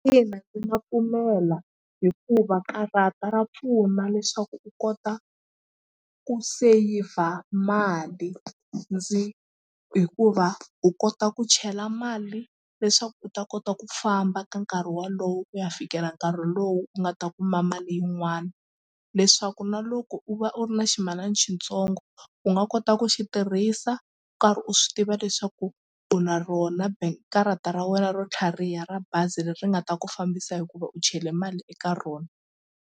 Ina ndzi nga pfumela hikuva karata ra pfuna leswaku u kota ku seyivha mali ndzi hikuva u kota ku chela mali leswaku u ta kota ku famba ka nkarhi wolowo ku ya fikela nkarhi lowu u nga ta kuma mali yin'wana leswaku na loko u va u ri na ximalana xitsongo u nga kota ta ku xi tirhisa u karhi u swi tiva leswaku u na rona karata ra wena ro tlhariha ra bazi leri nga ta ku fambisa hikuva u chela mali eka rona.